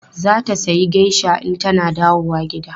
Za ta sayi geisha in tana dawowa gida.